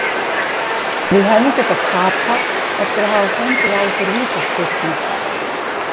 Við hefðum getað tapað eftir að hafa fengið á okkur vítaspyrnu.